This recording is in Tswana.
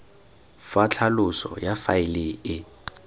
fa tlhaloso ya faele e